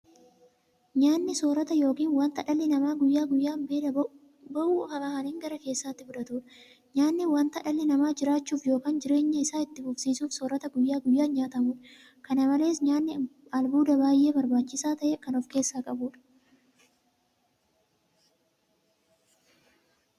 Nyaanni soorata yookiin wanta dhalli namaa guyyaa guyyaan beela ba'uuf afaaniin gara keessaatti fudhatuudha. Nyaanni wanta dhalli namaa jiraachuuf yookiin jireenya isaa itti fufsiisuuf soorata guyyaa guyyaan nyaatamuudha. Kana malees nyaanni albuuda baay'ee barbaachisaa ta'e kan ofkeessaa qabuudha.